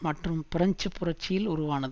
மற்றும் பிரெஞ்சு புரட்சியில் உருவானது